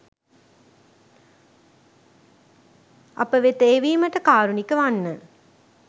අප වෙත එවිමට කාරුණික වන්න.